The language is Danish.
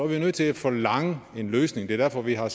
vi nødt til at forlange en løsning det er derfor at vi har